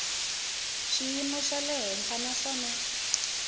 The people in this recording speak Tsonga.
xiyimo xa le henhla naswona